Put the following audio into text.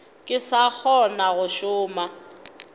ke sa kgona go šoma